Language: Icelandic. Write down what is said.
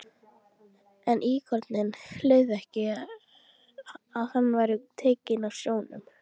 En íkoninn leyfði ekki að hann væri tekinn af sjónum.